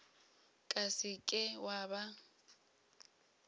ka se ke wa ba